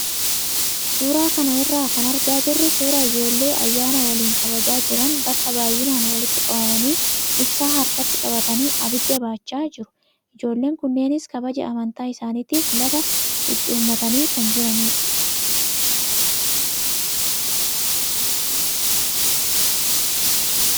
Suuraa kana irraa kan argaa jirru suuraa ijoollee ayyaana waliin kabajaa jiran bakka baay'inaan walitti qabamanii ibsaa harkatti qabatanii abidda baachaa jiru. Ijoolleen kunneenis kabaja amantaa isaaniitiif lafa qucuummatanii kan jiranidha.